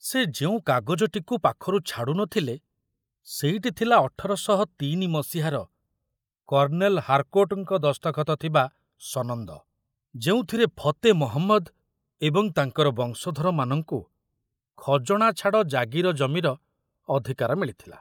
ସେ ଯେଉଁ କାଗଜଟିକୁ ପାଖରୁ ଛାଡ଼ୁ ନ ଥିଲେ ସେଇଟି ଥିଲା ଅଠର ଶହ ତିନି ମସିହାର କର୍ଣ୍ଣେଲ ହାରକୋର୍ଟଙ୍କ ଦସ୍ତଖତ ଥିବା ସନନ୍ଦ, ଯେଉଁଥିରେ ଫତେ ମହମ୍ମଦ ଏବଂ ତାଙ୍କର ବଂଶଧରମାନଙ୍କୁ ଖଜଣାଛାଡ଼ ଜାଗିର ଜମିର ଅଧିକାର ମିଳିଥିଲା।